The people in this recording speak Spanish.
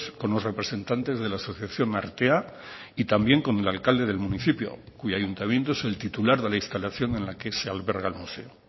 con los representantes de la asociación artea y también con el alcalde del municipio cuyo ayuntamiento es el titular de la instalación en la que se alberga el museo